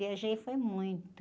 Viajei foi muito.